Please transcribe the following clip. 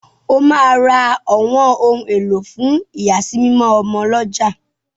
O ma rà ọwọn òun elo fún iyasimimo ọmọ l'ọja